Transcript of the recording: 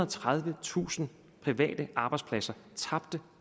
og tredivetusind private arbejdspladser tabte